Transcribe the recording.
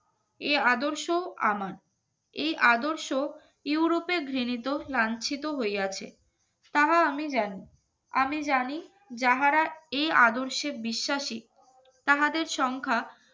এ আদর্শ আমার এই আদর্শ ইউরোপের ঘৃণিত লাঞ্ছিত হইয়াছে তাহা আমি জানি আমি জানি যাহারা এই আদর্শে বিশ্বাসী তাহাদের সংখ্যা